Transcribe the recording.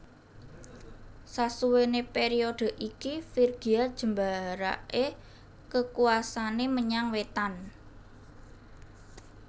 Sasuwene periode iki Frigia jembarake kekuwasane menyang wetan